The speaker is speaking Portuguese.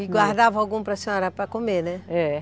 E guardava algum para senhora para comer, né? É.